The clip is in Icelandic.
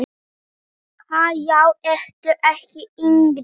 Ha, já ertu ekki yngri!